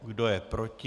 Kdo je proti?